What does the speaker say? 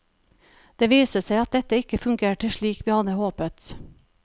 Det viste seg at dette ikke fungerte slik vi hadde håpet.